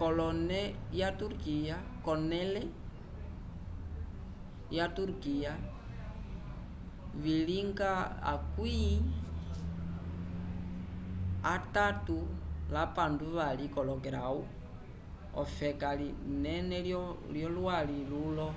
kolone lya turquia vilinga 37º ofeka linene lyo lwali lulo